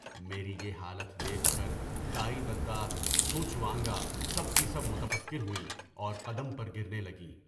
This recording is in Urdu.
میری یہ حالت دیکھ کر دائی دادی چو چوانگا کر سب متفکر ہوئیں اور قدم پر گر نے لگیں۔